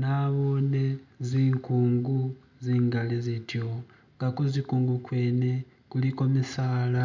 Nabone zinkungu zingali zityo nga kuzikung kwene kuliko jimisala,